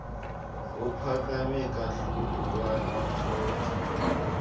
ophakame kakhlulu kwanothotho